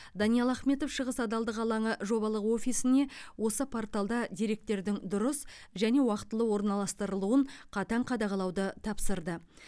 даниал ахметов шығыс адалдық алаңы жобалық офисіне осы порталда деректердің дұрыс және уақытылы орналастырылуын қатаң қадағалауды тапсырды